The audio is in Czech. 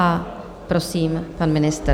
A prosím, pan ministr.